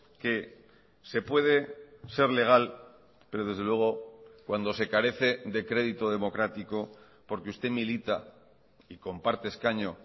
que se puede ser legal pero desde luego cuando se carece de crédito democrático porque usted milita y comparte escaño